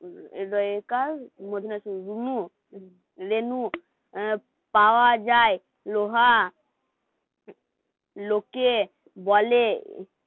পাওয়া যায় লোহা লোকে বলে